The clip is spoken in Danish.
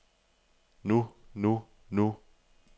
nu nu nu